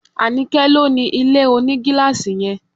Anike ló ni ilé onigilaasi yẹn